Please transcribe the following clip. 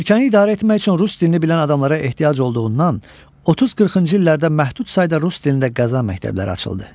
Ölkəni idarə etmək üçün rus dilini bilən adamlara ehtiyac olduğundan, 30-40-cı illərdə məhdud sayda rus dilində qəza məktəbləri açıldı.